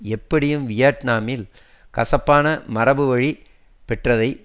எப்படியும் வியட்நாமில் கசப்பான மரபுவழி பெற்றதை